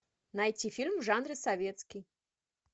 найти фильм в жанре советский